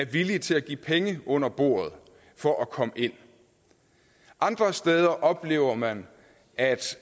villige til at give penge under bordet for at komme ind andre steder oplever man at